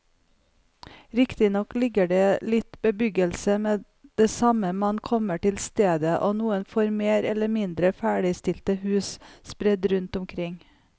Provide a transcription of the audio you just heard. Riktignok ligger det litt bebyggelse med det samme man kommer til stedet og noen få mer eller mindre ferdigstilte hus sprett rundt omkring.